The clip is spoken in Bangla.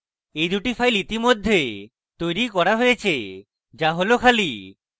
এই দুটি files ইতিমধ্যে তৈরী করা হয়েছে the হল খালি